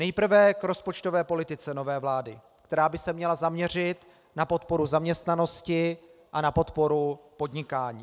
Nejprve k rozpočtové politice nové vlády, která by se měla zaměřit na podporu zaměstnanosti a na podporu podnikání.